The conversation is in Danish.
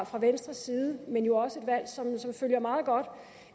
fra venstres side men jo også et valg som er meget godt